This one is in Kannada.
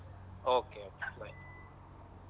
Okay bye.